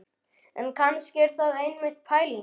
En kannski er það einmitt pælingin.